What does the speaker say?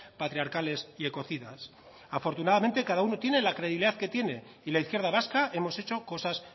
patriarcales y ecocidas afortunadamente cada uno tiene la credibilidad que tiene y la izquierda vasca hemos hecho cosas